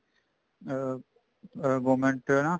ਅਮ ਅਮ government ਦਾ ਹਨਾ